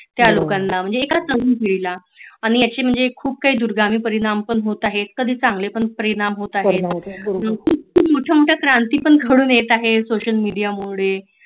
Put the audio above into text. त्या लोकांना म्हणजे एका तरुण पिढीला खुप काही दुर्गामी परिणाम पण होत आहेत खुप चांगले पण परिणाम होत आहेत खुप मोड़ मोठ्या क्रांती पण घडून येतात सोशल मीडिया मुळे